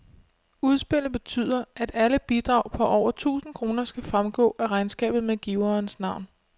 Udspillet betyder, at alle bidrag på over tusind kroner skal fremgå af regnskabet med giverens navn.